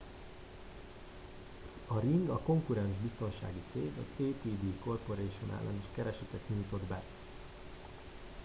a ring a konkurens biztonsági cég az adt corporation ellen is keresetet nyújtott be